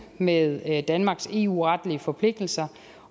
med danmarks eu retlige forpligtelser